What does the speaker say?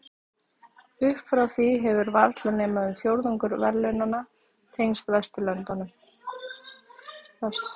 Upp frá því hefur varla nema um fjórðungur verðlaunanna tengst Vesturlöndum.